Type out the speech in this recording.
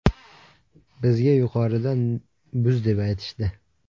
Bizga yuqoridan buz deb aytishdi.